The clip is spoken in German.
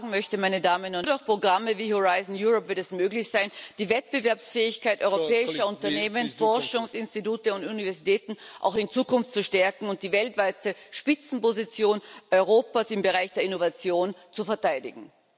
Aber was ich sagen möchte Nur durch Programme wie Horizon Europe wird es möglich sein, die Wettbewerbsfähigkeit europäischer Unternehmen, Forschungsinstitute und Universitäten auch in Zukunft zu stärken und die weltweite Spitzenposition Europas im Bereich der Innovation zu verteidigen.